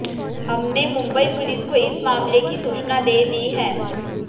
हमने मुंबई पुलिस को इस मामले की सूचना दे दी है